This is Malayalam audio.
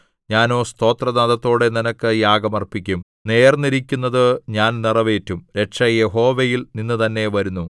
ഞാനോ സ്തോത്രനാദത്തോടെ നിനക്ക് യാഗം അർപ്പിക്കും നേർന്നിരിക്കുന്നതു ഞാൻ നിറവേറ്റും രക്ഷ യഹോവയിൽ നിന്നുതന്നെ വരുന്നു